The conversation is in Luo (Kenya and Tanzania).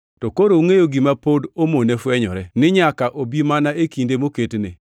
To koro ungʼeyo gima pod omone fwenyore, ni nyaka obi mana e kinde moketne.